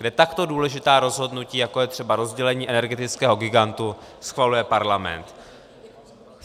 Kde takto důležitá rozhodnutí, jako je třeba rozdělení energetického gigantu, schvaluje parlament.